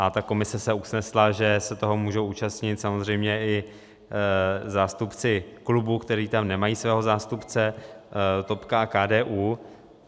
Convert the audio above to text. A ta komise se usnesla, že se toho můžou účastnit samozřejmě i zástupci klubů, kteří tam nemají svého zástupce, topka a KDU.